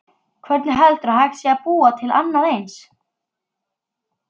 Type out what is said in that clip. Hvernig heldurðu að hægt sé að búa til annað eins?